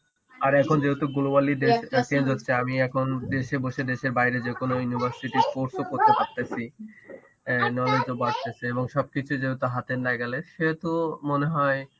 আর এখন যেহেতু global ই দেশ change হচ্ছে আমি এখন দেশে বসে দেশের বাইরে যে কোনো university course করতে পারতাসি, সব কিছু যেহেতু হাত এর নাগালে সেহেতু মনেহয়